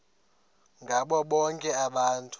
ngabo bonke abantu